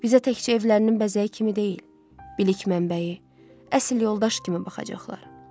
Bizə təkcə evlərinin bəzəyi kimi deyil, bilik mənbəyi, əsl yoldaş kimi baxacaqlar.